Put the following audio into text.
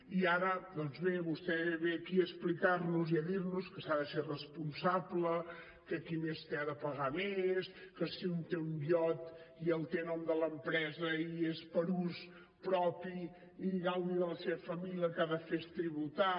i ara doncs bé vostè ve aquí a explicar nos i a dir nos que s’ha de ser responsable que qui més té ha de pagar més que si un té un iot i el té a nom de l’empresa i és per a ús propi i gaudi de la seva família el que ha de fer és tributar